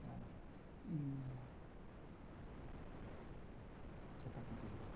sabe? E... Troca a fita de novo.